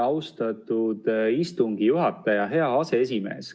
Austatud istungi juhataja, hea aseesimees!